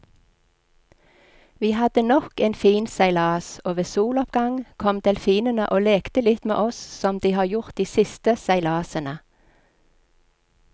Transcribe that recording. Vi hadde nok en fin seilas, og ved soloppgang kom delfinene og lekte litt med oss som de har gjort de siste seilasene.